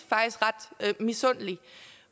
ret misundelig